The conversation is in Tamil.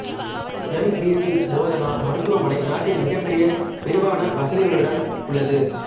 எம்விசி போதனா மருத்துவமனை நாட்டின் மிகப்பெரிய விரிவான வசதிகளுடன் உள்ளது